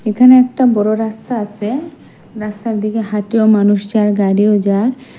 এখানে একটা বড়ো রাস্তা আসে রাস্তার দিকে হাঁটিও মানুষ যার গাড়িও যার ।